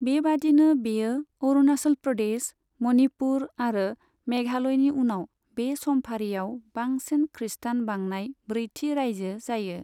बेबादिनो बेयो अरुणाचल प्रदेश, मनिपुर आरो मेघालयनि उनाव बे समफारियाव बांसिन खृस्टान बांनाय ब्रैथि रायजो जायो।